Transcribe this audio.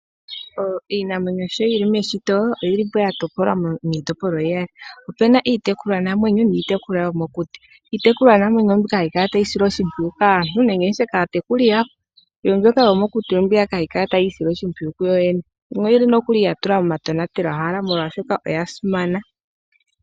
Iinamwenyo sho yi li meshito oyi lipo ya topolwa miitopolwa iya li, opena iitekulwa namwenyo noyo mokuti, iitekulwa namwenyo ombiyaka hayi kala tayi silwa oshimpiyu kaantu ngenge kaatekuli yawo ndjoka yomokuti ombiyaka hayi kala tayiisile oshimpwiyu yo yene ,yimwe oyi li ya tulwa moma tonatelo hala molwaa shoka oya simana.